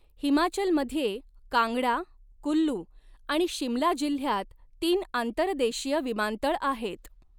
हिमाचलमध्ये कांगडा, कुल्लू आणि शिमला जिल्ह्यात तीन आंतर्देशीय विमानतळ आहेत.